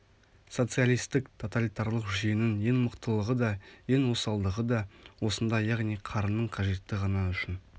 социалистік тоталитарлық жүйенің ең мықтылығы да ең осалдығы да осында яғни қарынның қажеті ғана үшін